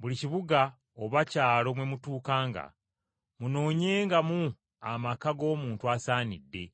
Buli kibuga oba kyalo mwe mutuukanga, munoonyengamu amaka g’omuntu asaanidde,